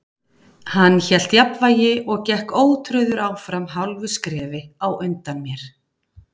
Hann hélt jafnvægi og gekk ótrauður áfram hálfu skrefi á undan mér.